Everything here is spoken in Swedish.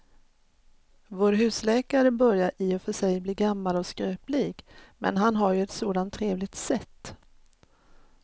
Vår husläkare börjar i och för sig bli gammal och skröplig, men han har ju ett sådant trevligt sätt!